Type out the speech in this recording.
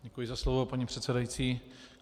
Děkuji za slovo, paní předsedající.